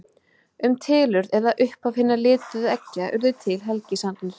Um tilurð eða upphaf hinna lituðu eggja urðu til helgisagnir.